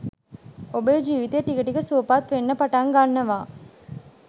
ඔබේ ජීවිතය ටික ටික සුවපත් වෙන්න පටන් ගන්නවා.